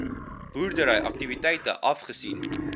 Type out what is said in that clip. boerdery aktiwiteite afgesien